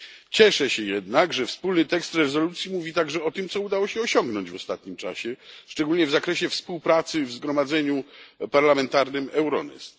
Cieszę się jednak, że wspólny tekst rezolucji mówi także o tym, co udało się osiągnąć w ostatnim czasie, szczególnie w zakresie współpracy w ramach Zgromadzenia Parlamentarnego Euronest.